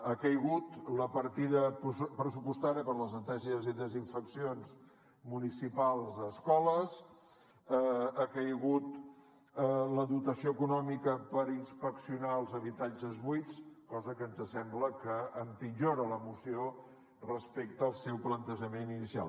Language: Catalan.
ha caigut la partida pressupostària per a les neteges i desinfeccions municipals a escoles ha caigut la dotació econòmica per inspeccionar els habitatges buits cosa que ens sembla que empitjora la moció respecte al seu plantejament inicial